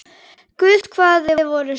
Guð hvað þið voruð sæt!